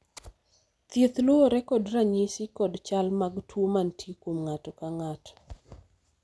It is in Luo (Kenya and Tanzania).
thieth luwore kod ranyisi kod chal mag tuo manitie kuom ng'ato ka ng'ato